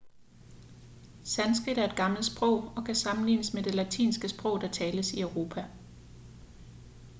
sanskrit er et gammelt sprog og kan sammenlignes med det latinske sprog der tales i europa